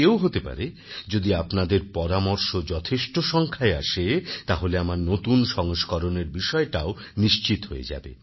এও হতে পারে যদি আপনাদের পরামর্শ যথেষ্ট সংখ্যায় আসে তাহলে আমার নতুন সংস্করণের বিষয়টাও নিশ্চিত হয়ে যাবে